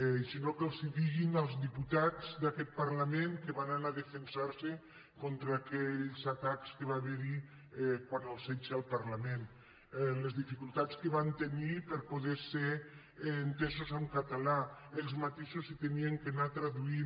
i si no que els ho diguin als diputats d’aquest parlament que van anar a defensar·se contra aquells atacs que va haver·hi quan el setge al parlament les dificultats que van tenir per poder ser entesos en ca·talà ells mateixos s’havien d’anar traduint